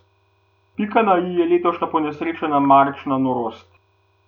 Pika na i je letošnja ponesrečena marčna norost.